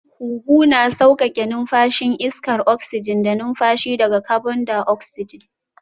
Huhu na sauƙaƙe numfashin iskar oksijin da numfashi daga kabon daoksijin